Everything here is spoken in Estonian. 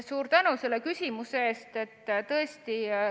Suur tänu selle küsimuse eest!